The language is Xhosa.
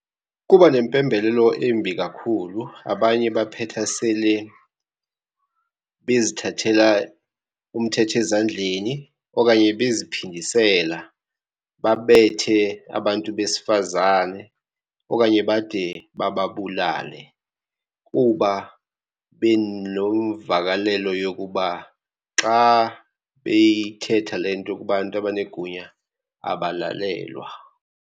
Kuba nempembelelo embi kakhulu. Abanye baphetha sele bezithathela umthetho ezandleni okanye beziphindisela babethe abantu besifazane, okanye bade bababulale kuba benemvakalelo yokuba xa beyithetha le nto kubantu abanegunya abalalelwa.